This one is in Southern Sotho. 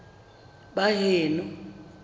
baheno